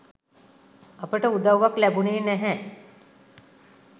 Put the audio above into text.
අපට උදව්වක් ලැබුණේ නැහැ